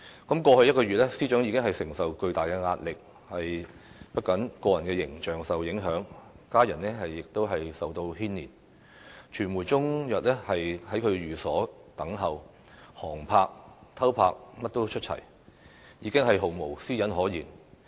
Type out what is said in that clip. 過去一個月，司長已經承受巨大壓力，不僅個人形象受影響，家人亦受牽連，傳媒終日在其寓所等候，航拍、偷拍也出齊，已經毫無私隱可言。